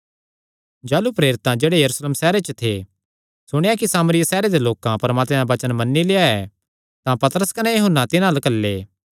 जाह़लू प्रेरितां जेह्ड़े यरूशलेम सैहरे च थे सुणेया कि सामरिया दे लोकां परमात्मे दा वचन मन्नी लेआ ऐ तां पतरस कने यूहन्ना तिन्हां अल्ल घल्ले